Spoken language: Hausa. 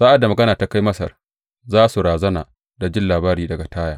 Sa’ad da magana ta kai Masar, za su razana da jin labari daga Taya.